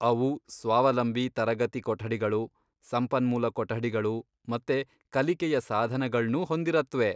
ಅವು ಸ್ವಾವಲಂಬಿ ತರಗತಿ ಕೊಠಡಿಗಳು, ಸಂಪನ್ಮೂಲ ಕೊಠಡಿಗಳು ಮತ್ತೆ ಕಲಿಕೆಯ ಸಾಧನಗಳ್ನೂ ಹೊಂದಿರತ್ವೆ.